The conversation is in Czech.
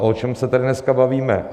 A o čem se tady dneska bavíme?